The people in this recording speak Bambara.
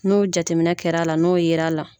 N'o jateminɛ kɛra la n'o yer'a la.